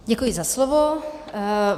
Děkuji za slovo.